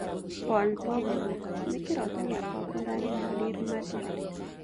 Paul Pogba ‘’nĩ kĩroto gĩakwa gũthakĩra Real Madrid